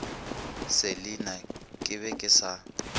selina ke be ke sa